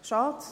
Schade!